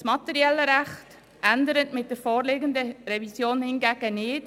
Das materielle Recht ändert mit der vorliegenden Revision hingegen nicht.